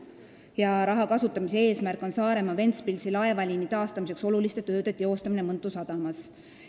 Kirjas öeldakse: "Raha kasutamise eesmärk on Saaremaa–Ventspilsi laevaliini taastamiseks oluliste tööde teostamine Mõntu sadamas.